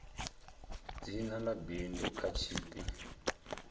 dzina ḽa bindu kha tshipi